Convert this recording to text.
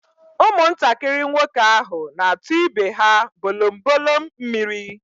Ụmụntakịrị nwoke ahụ na-atu ibe ha bolombolom mmiri.